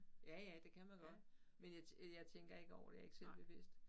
Ja ja det kan man godt men jeg øh jeg tænker ikke selv over det jeg ikke selv bevidst